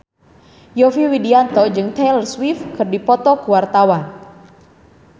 Yovie Widianto jeung Taylor Swift keur dipoto ku wartawan